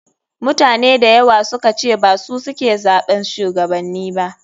Mutane dayawa sukace basu suke zaɓan shuwagabanni ba.